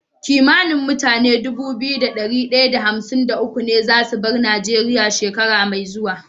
Kimanin mutane Dubu biyu da dari daya da hamsin da uku ne zasu bar nigeria shekara me zuwa